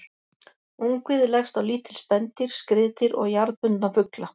Ungviði leggst á lítil spendýr, skriðdýr og jarðbundna fugla.